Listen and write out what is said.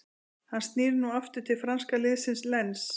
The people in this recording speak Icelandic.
Hann snýr nú aftur til franska liðsins Lens.